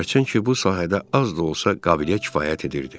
Hərçənd ki, bu sahədə az da olsa qabiliyyət kifayət edirdi.